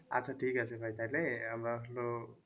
আচ্ছা ঠিক আছে ভাই তাইলে আমরা হলো